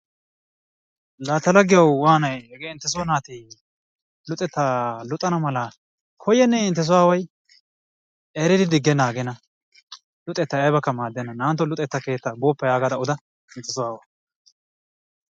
La ta laggiyawu waanayi hegee inttesoo naati luxettaa luxana mala koyyennee inttesoo aawwayi,? eridi diggennaa aggenna luxettay aybakke maaddenna naa"antto luxetta keetta booppa yaagada oda intteso aawawu.